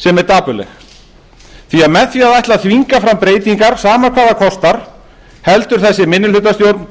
sem er dapurleg því með því að ætla að þvinga fram breytingar sama hvað það kostar heldur þessi minnihlutastjórn